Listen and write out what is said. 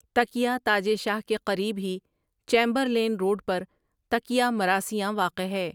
تکیہ تاجے شاہ کے قریب ہی چیمبرلین روڈ پر تکیہ مراثیاں واقع ہے ۔